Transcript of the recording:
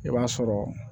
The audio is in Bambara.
I b'a sɔrɔ